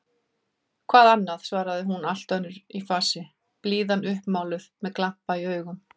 Hvað annað? svaraði hún allt önnur í fasi, blíðan uppmáluð, með glampa í augum.